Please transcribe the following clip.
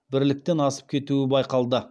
бірліктен асып кетуі байқалды